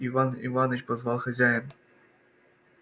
иван иваныч позвал хозяин